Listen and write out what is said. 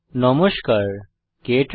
নমস্কার বন্ধুগণ